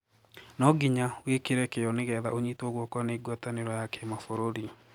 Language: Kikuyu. Noo nginya wikire kioo nigetha unyitwo guoko na Guataniro ya Kimabururi.